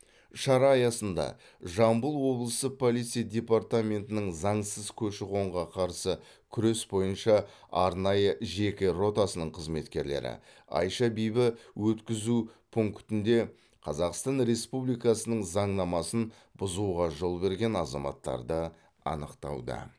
шара аясында жамбыл облысы полиция департаментінің заңсыз көші қонға қарсы күрес бойынша арнайы жеке ротасының қызметкерлері айша бибі өткізу пунктінде қазақстан республикасының заңнамасын бұзуға жол берген азаматтарды анықтауда